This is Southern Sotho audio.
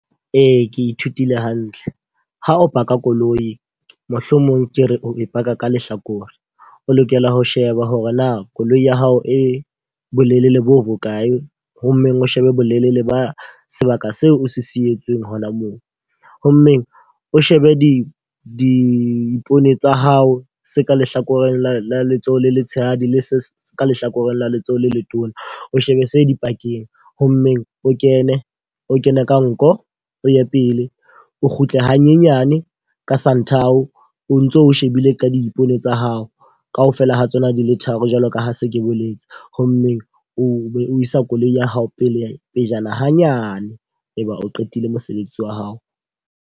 Ee, ke ithutile hantle. Ha o park-a koloi, mohlomong ke re o e park-a ka lehlakore. O lokela ho sheba hore na koloi ya hao e bolelele bo bokae. Ho mmeng o shebe bolelele ba sebaka seo o se sietswe hona moo. Ho mmeng o shebe di dipone tsa hao se ka lehlakoreng la letsohong le letshehadi, le se ka lehlakoreng la letsohong le letona, o shebe se dipakeng. Ho mmeng o kene, o kene ka nko, o ye pele. O kgutle hanyenyane ka santhao o ntso shebile ka diipone tsa hao. Ka ofela ha tsona di le tharo jwalo ka ha se ke boletse. Ho mmeng o be o isa koloi ya hao pelejana hanyane. E be o qetile mosebetsi wa hao.